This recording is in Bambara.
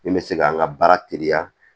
Min bɛ se k'an ka baara teliya